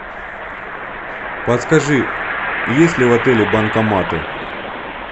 подскажи есть ли в отеле банкоматы